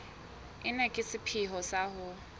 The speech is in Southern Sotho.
ena ka sepheo sa ho